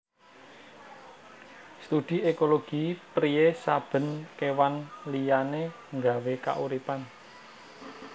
Studi ékologi priyé saben kéwan liyané nggawé kauripan